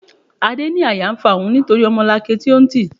Adé ní àyà ń fa òun nítorí ọmọlanke tí ó ń tì.